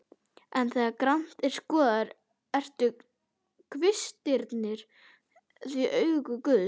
Og þegar grannt er skoðað, eru kvistirnir því augu guðs.